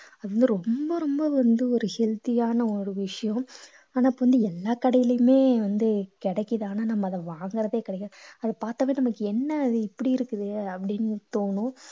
அது வந்து ரொம்ப ரொம்ப வந்து ஒரு healthy யான ஒரு விஷயம் ஆனா இப்போ வந்து எல்லா கடையிலுமே வந்து கிடைக்குது ஆனா நம்ம அதை வாங்குறதே கிடையாது அத பார்த்தாவே நமக்கு என்ன இது இப்படி இருக்குதே அப்படீன்னு தோணும்